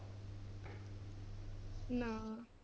ਨਾ।